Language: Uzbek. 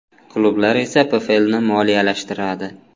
Klublar esa PFLni moliyalashtiradi.